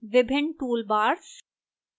विभिन्न toolbars